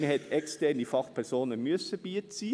Man hat externe Fachpersonen beiziehen müssen.